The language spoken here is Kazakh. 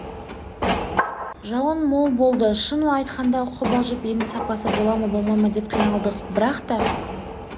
жауын мол болды шынын айтқанда қобалжып енді сапасы бола ма болмай ма деп қиналдық бірақ та